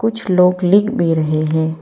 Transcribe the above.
कुछ लोग लिख भी रहे हैं।